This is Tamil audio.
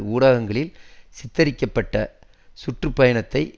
ஊடகங்களில் சித்தரிக்கப்பட்ட சுற்று பயணத்தை